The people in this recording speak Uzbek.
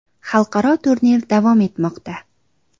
Xalqaro turnir davom etmoqda.